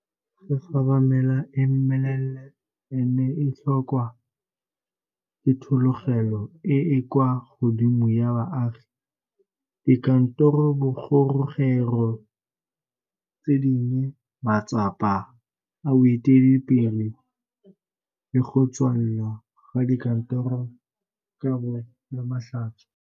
Gigaba mela e meleele e ne e tlholwa ke thologelo e e kwa godimo ya baagi, dikantorobogorogelo tse dinnye, matsapa a boeteledipele le go tswalwa ga dikantoro ka bo Lamatlhatso.